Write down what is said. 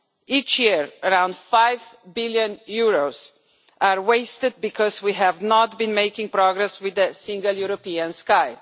Each year around EUR 5 billion are wasted because we have not been making progress with the Single European Sky.